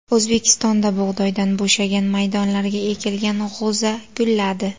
O‘zbekistonda bug‘doydan bo‘shagan maydonlarga ekilgan g‘o‘za gulladi.